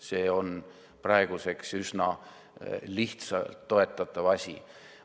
See on praeguseks üsna lihtsalt toetatav asi.